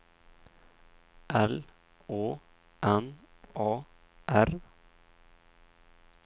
L Å N A R